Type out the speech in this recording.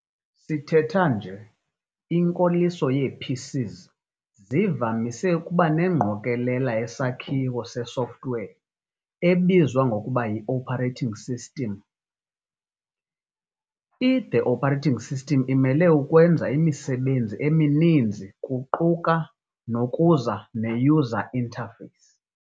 Sithetha nje, inkoliso yee-PCs zivamise ukuba nengqokolela yesakhiwo se-software ebizwa ngokuba yi-operating system. I-The operating system imele ukwenza imisebenzi emininzi kuquka nokuza ne-user interface, i-UI.